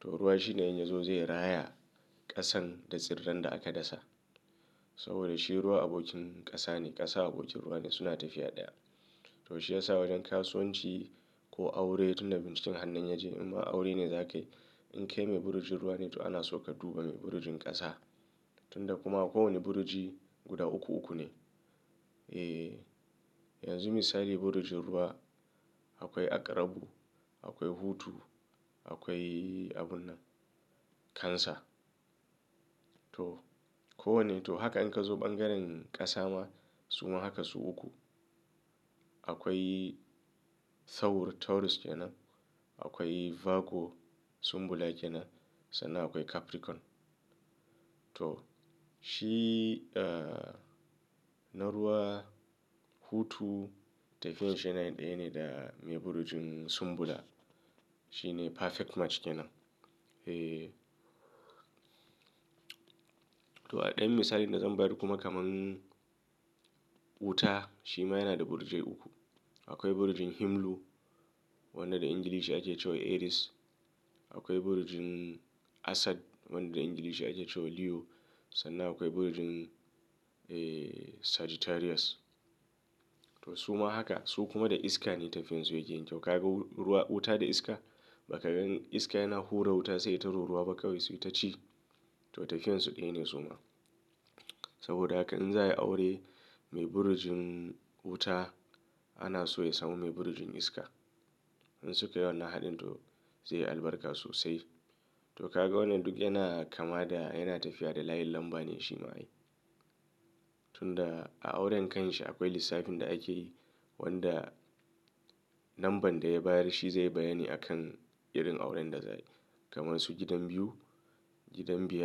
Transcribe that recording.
To ruwa shine in ya zo zai raya ƙasan da tsirran da aka dasa. Saboda shi ruwa abokin ƙasa ne, ƙasa abokin ruwa ne suna tafiya ɗaya. To shi ya sa wajen kasuwanci ko aure tunda binciken hannun ya je in ma aure ne za ka yi. In kai mai burjin ruwa ne to ana so ka duba mai burjin ƙasa. Tunda kuma kowane burji guda uku uku ne. Eh, yanzu misali burjin ruwa akwai aƙrabu, akwai hutu, akwai abun nan cancer. To kowanne to haka in ka zo ɓangaren ƙasa ma su ma haka su uku. Akwai thaur, Taurus kenan, akwai Virgo, Sumbula kenan sannan akwai Capricorn. To shi na ruwa, hutu tafiyan shi yana ɗaya ne da mai burjin Sumbula. Shi ne perfect match kenan. Eh, to a ɗayan misalin da zan bayar kuma kamar wuta shi ma yana da burje uku. Akwai burjin Himlu wanda da Ingilishi ake cewa Aries. Akwai burjin Asad wanda da Ingilishi ake cewa Leo. Sannan akwai burjin, eh, Sagittarius. To su ma haka su kuma da iska ne tafiyan su yake yin kyau. Ka ga ruwa, wuta da iska? Ba ka gan iska yana hura wuta sai ta ruru ruwa bakkawi sai ta ci. To tafiyan su ɗaya ne su ma. Saboda haka in za a yi aure mai burjin wuta ana so ya samu mai burjin iska. In sukai wannan haɗin to zai yi albarka sosai. To ka ga wannan duk yana kama da yana tafiya da layin lamba ne shi ma yi. Tunda a auren kanshi akwai lissafin da ake yi wanda lamban da ya bayar shi zai bayani a kan irin auren da za yi. Kamar su gidan biyu, gidan biyar.